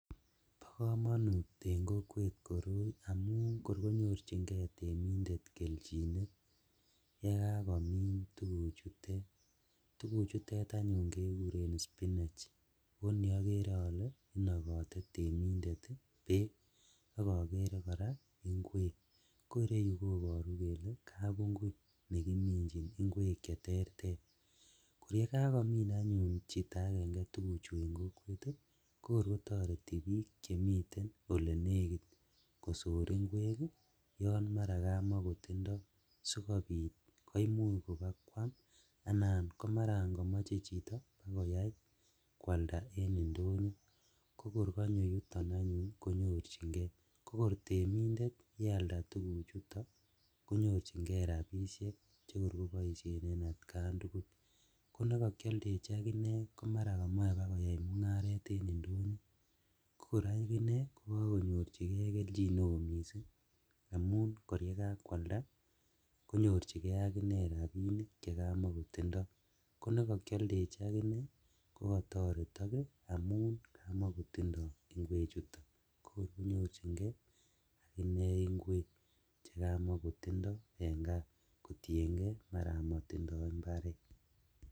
Bokomonut en kokwet koroi amun kor konyorjingee temindet keljinet yekakomin tuguchutet, tuguchutet anyun kekuren spinach oni okere ole inokote temindet beek ak okere koraa inkwek, ko ireyu koboru kole kabungut nekiminjin inkwek cheterter, koyekakomin anyun chito agenge tuguchu en kokwet kokor kotoreti bik chemi olenekit kosor inkwek yon maraa kamakotindo sikobit koimuch kobakwam anan komaran komiche chito bakoyai kwalda en indonyo kokor konyo anyun yuton anyun konyorjingee, kokor temindet yealda tuguchuto konyorjingee rabishek chekor koboisien en atkan tugul, konekor kokokioldechi akinee komaran komoe bakoyai mungaret kokor akinee kokokonyorjigee keljin neo missing' amun kor yekakwalda konyorjigee akinee rabinik chekamokotindo, konekokioldechi konekokioldechi akinee kokotoretok amun kamokotindo inkwechuton kokor konyorjigee akinee inkwek chekamokotindo en kaa kotiengee maraa motindo imbaret.